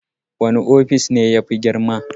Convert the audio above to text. Wani ofis ne yafi girma?